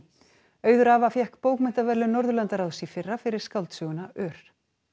auður fékk bókmenntaverðlaun Norðurlandaráðs í fyrra fyrir skáldsöguna ör